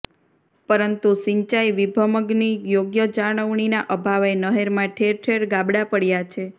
પરંતુ સિંચાઇ વિભમગની યોગ્ય જાળવણીના અભાવે નહેરમાં ઠેર ઠેર ગાબડા પડયા છે